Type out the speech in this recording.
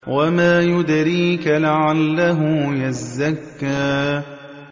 وَمَا يُدْرِيكَ لَعَلَّهُ يَزَّكَّىٰ